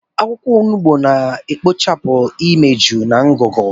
Akwụkwọ onugbu na-ekpochapụ imeju na ngụgụ.